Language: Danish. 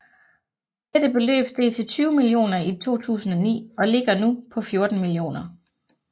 Dette beløb steg til 20 millioner i 2009 og ligger nu på 14 millioner